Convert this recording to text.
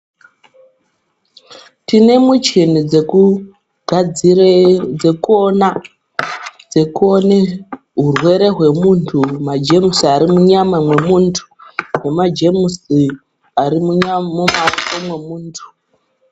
Tine muchini dzekugadzire dzekuona dzekuone hurwere hwemuntu majemusi ari munyama mwemuntu. nemajemusi ari mumaoko mwemuntu.